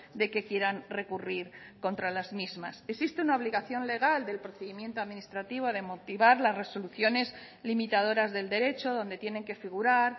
de que quieran recurrir contra las mismas existe una obligación legal del procedimiento administrativo de motivar las resoluciones limitadoras del derecho donde tienen que figurar